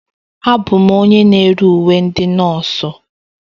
Abụ m onye na-ere uwe ndị nọọsụ.